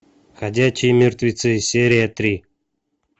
ходячие мертвецы серия три